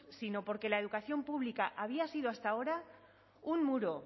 sino porque la educación pública había sido hasta ahora un muro